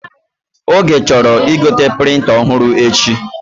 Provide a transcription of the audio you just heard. Oge chọrọ igote prịnta ọhụrụ echi